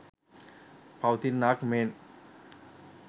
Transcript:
පවතින්නාක් මෙන්